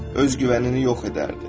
Öz güvənini yox edərdi.